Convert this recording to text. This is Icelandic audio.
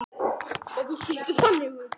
Og víst lítur það þannig út.